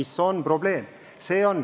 See on tõesti probleem.